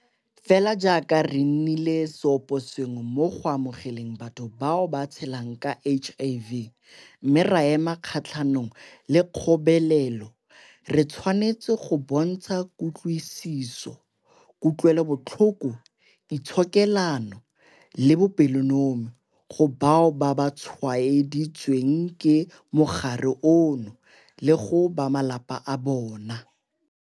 Fela jaaka re nnile seoposengwe mo go amogeleng batho bao ba tshelang ka HIV mme ra ema kgatlhanong le kgobelelo, re tshwanetse go bontsha kutlwisiso, kutlwelobotlhoko, itshokelano le bopelonomi go bao ba tshwaeditsweng ke mogare ono le go ba malapa a bona.